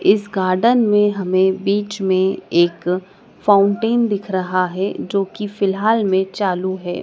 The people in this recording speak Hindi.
इस गार्डन में हमें बीच में एक फाउंटेन दिख रहा है जो कि फिलहाल में चालू है।